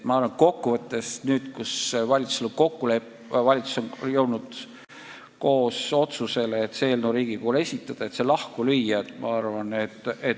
Ma arvan, et nüüd, kui valitsus on jõudnud ühisele otsusele see eelnõu Riigikogule esitada, on mõistlik see ära teha.